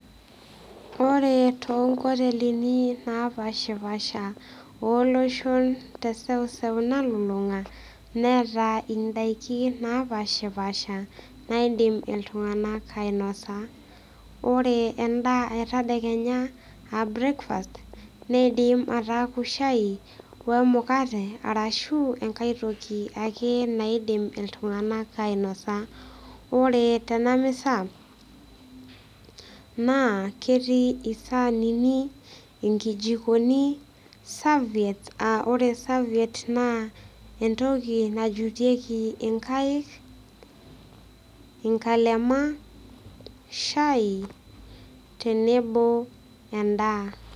Ore toonkotelini napashapasha oloshon teseuseu nalulunga neeta indaikin napashpasha naidim iltunganak ainosa. Ore endaa etadekenya aa breakfast neidim ataaku shai wemukate ashu enkae toki ake naidim iltunganak ainosa . Ore tenamisa naa ketii isanini, inkijikoni , serviettes , aa ore serviettes naa entoki najutieki inkaik , nkalema , shai tenebo endaa.